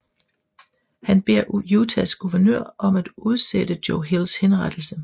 Han beder Utahs guvenør om at udsætte Joe Hills henrettelse